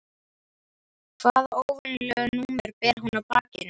Hvaða óvenjulega númer ber hún á bakinu?